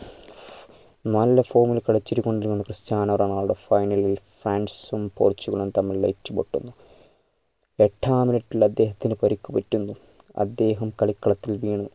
നല്ല form ൽ കളിച്ചത് കൊണ്ടാണ് ക്രിസ്റ്റ്യാനോ റൊണാൾഡോ finall ൽ ഫ്രാൻസും പോർച്ചുഗലും തമ്മിൽ ഏറ്റുമുട്ടുന്നു എട്ടാം minute ൽ അദ്ദേഹത്തിന് പരുക്ക് പറ്റുന്നു അദ്ദേഹം കളിക്കളത്തിൽ വീണ്